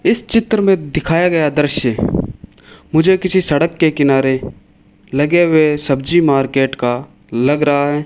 इस चित्र में दिखाया गया दृश्य मुझे किसी सड़क के किनारे लगे हुए सब्जी मार्केट का लग रहा है।